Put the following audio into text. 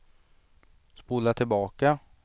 spola tillbaka